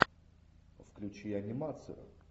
включи анимацию